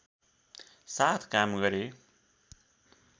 साथ काम गरे